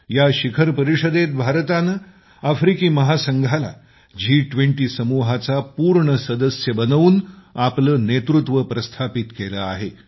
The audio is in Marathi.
या शिखर परिषदेत भारतानं आफ्रिकी महासंघाला जी20 समुहाचा पूर्ण सदस्य बनवून आपलं नेतृत्व प्रस्थापित केलं आहे